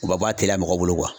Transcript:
U bɛ o b'a teliya mɔgɔ bolo